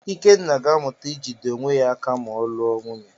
Ikenna ga-amụta ijide onwe ya aka ma ọ lụọ nwunye.